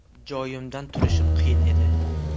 Joyimdan turishim qiyin edi.